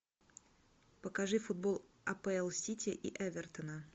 покажи футбол апл сити и эвертона